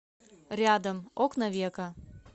рядом окна века